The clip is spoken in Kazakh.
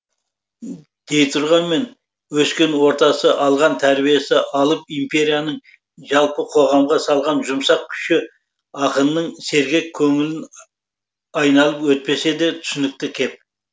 дейтұрғанмен өскен ортасы алған тәрбиесі алып империяның жалпы қоғамға салған жұмсақ күші ақынның сергек көңілін айналып өтпесі де түсінікті кеп